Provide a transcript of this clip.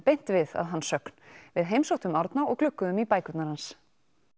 beint við að hans sögn við heimsóttum Árna og glugguðum í bækurnar hans